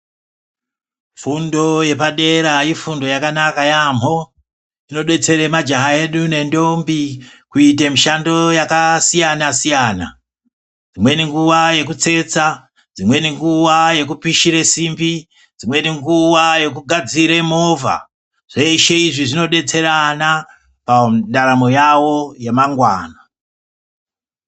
Fundo yepadera ifundo yakanaka yaambo inobetsera majaha edu nendombi kuite mishando yakasiyana siyana imweni nguvai yokutsetsa dzimweni nguva yokupishure simbi dzimweni nguva dzimweni yokugadzire movha zveshe izvi zvinobetserana pandaramonyawo yemangwana.